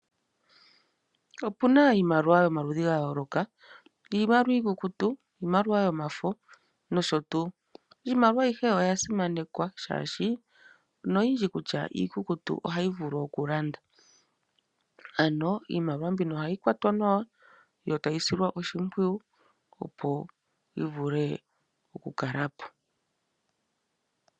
Opuna iimaliwa yomaludhi ga yooloka iimaliwa iikukutu ,iimaliwa yomafo nosho tuu. Iimaliwa ayihe oya simanekwa molwashoka noyindji kutya iikukutu ohayi vulu oku lando. Ano iimaliwa mbino ohayi kwatwa nawa yo tayi silwa oshimpwiyu opo yi vule oku kalapo.